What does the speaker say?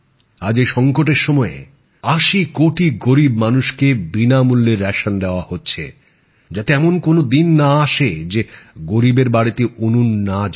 আজ এই সংকটের সময়ে আশি কোটি গরীব মানুষ কে বিনামূল্যে রেশন দেওয়া হচ্ছে যাতে এমন কোন দিন না আসে যে গরীবের বাড়িতে উনুন না জ্বলে